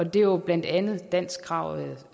det er jo blandt andet danskkravet